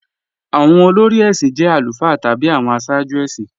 Awọn olórí èṣin jẹ̀ alufáà tabi awọn àṣààjú èṣin